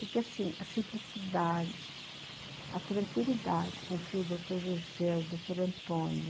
Porque assim, a simplicidade, a tranquilidade com que o doutor José, o doutor Antônio